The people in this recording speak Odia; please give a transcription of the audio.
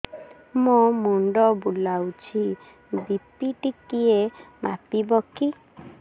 ମୋ ମୁଣ୍ଡ ବୁଲାଉଛି ବି.ପି ଟିକିଏ ମାପିବ କି